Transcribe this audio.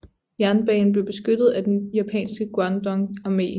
Jernbanen blev beskyttet af den japanske Guandong armé